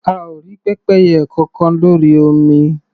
A ò rí pẹ́pẹ́yẹ kọkan lórí omi.